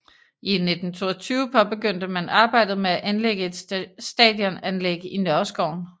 I 1922 påbegyndte man arbejdet med at anlægge et stadionanlæg i Nørreskoven